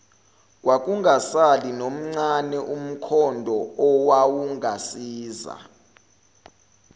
kwakungasali nomncane umkhondoowawungasiza